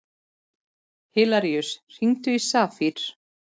Hilaríus, hringdu í Safír.